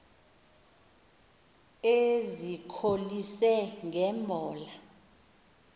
ezikholise nge mbola